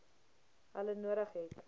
hulle nodig het